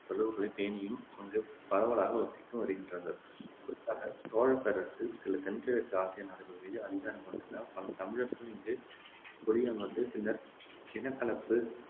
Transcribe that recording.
தொடர்புகளைப் பேணியும் அங்குப் பரவலாக வசித்தும் வருகின்றார்கள் குறிப்பாகச் சோழப் பேரரசு சில தென்கிழக்கு ஆசிய நாடுகள் மீது அதிகாரம் கொண்டிருந்ததால் பல தமிழர் இங்கு குடியமர்ந்து பின்னர் இனக்கலப்பு